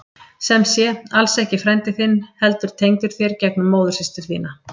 Sem sé, alls ekki frændi þinn heldur tengdur þér gegnum móðursystur þína.